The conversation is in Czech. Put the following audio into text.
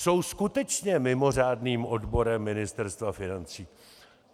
Jsou skutečně mimořádným odborem Ministerstva financí.